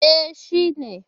E, shi ne